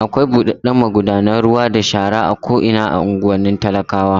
Akwai buɗaɗɗen magudanar ruwa da shara a ko'ina a unguwannin talakawa.